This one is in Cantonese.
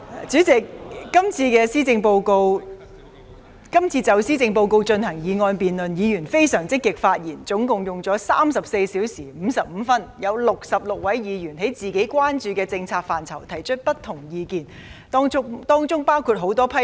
主席，今次就施政報告進行議案辯論，議員發言相當積極，辯論共計34小時55分鐘，其間有66位議員就本身關注的政策範疇提出不同意見，當中包括很多批評。